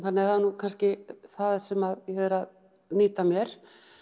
það er kannski það sem ég er að nýta mér